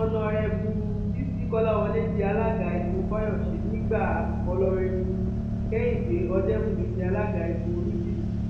ọnàrẹbù bisi kọláwọlẹ di alága igun fáyọsè nígbà ọnàrẹbù kehìndé ọdẹbùnmi di alága igun olújímì